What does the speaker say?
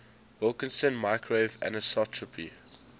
wilkinson microwave anisotropy